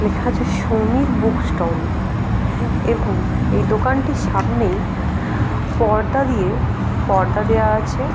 লেখা আছে সমীব় বুক স্টল হ্য়াঁ এবং এই দোকানে সামনেই পর্দা দিয়ে পর্দা দেওয়া আছে।